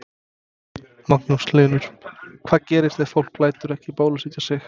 Magnús Hlynur: Hvað gerist ef fólk lætur ekki bólusetja sig?